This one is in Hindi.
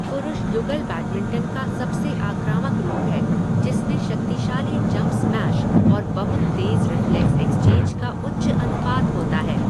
पुरुष युगल बैडमिंटन का सबसे आक्रामक रूप है जिसमे शक्तिशाली जंप स्मैश और बहुत तेज़ रिफ्लेक्स एक्सचेंज का उच्च अनुपात होता है।